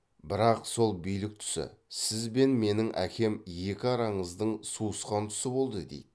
бірақ сол билік тұсы сіз бен менің әкем екі араңыздың суысқан тұсы болды дейді